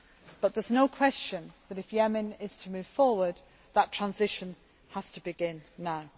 there. But there is no question that, if Yemen is to move forward, that transition has to begin